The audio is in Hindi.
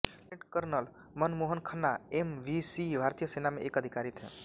lieutenant colonel Man Mohan Khanna M V C भारतीय सेना में एक अधिकारी थे